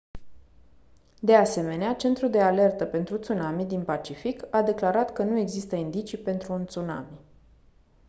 de asemenea centrul de alertă pentru tsunami din pacific a declarat că nu există indicii pentru un tsunami